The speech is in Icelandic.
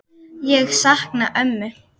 Ég sakna ömmu.